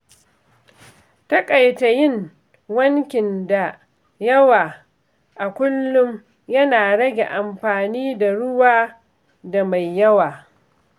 Taƙaita yin wankin da yawa a kullum yana rage amfani da ruwa da mai yawa.